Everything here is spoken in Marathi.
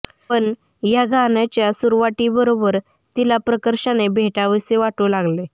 पण ह्या गाण्याच्या सुरावटीबरोबर तिला प्रकर्षाने भेटावेसे वाटू लागले